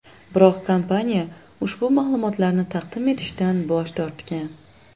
Biroq kompaniya ushbu ma’lumotlarni taqdim etishdan bosh tortgan.